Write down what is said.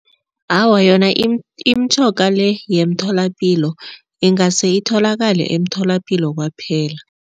Awa, yona imitjhoga le yemtholapilo ingase itholakale emtholapilo kwaphela.